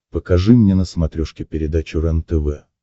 покажи мне на смотрешке передачу рентв